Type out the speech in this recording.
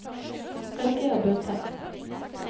Rediger bunntekst